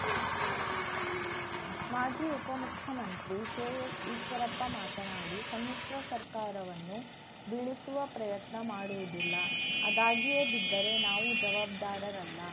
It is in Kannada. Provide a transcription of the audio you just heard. ಮಾಜಿ ಉಪಮುಖ್ಯಮಂತ್ರಿ ಕೆಎಸ್‌ಈಶ್ವರಪ್ಪ ಮಾತನಾಡಿ ಸಮ್ಮಿಶ್ರ ಸರ್ಕಾರವನ್ನು ಬೀಳಿಸುವ ಪ್ರಯತ್ನ ಮಾಡುವುದಿಲ್ಲ ಅದಾಗಿಯೇ ಬಿದ್ದರೆ ನಾವು ಜವಾಬ್ದಾರರಲ್ಲ